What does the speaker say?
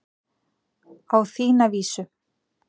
Á þína vísu.